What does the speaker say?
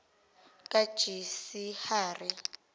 kajisihari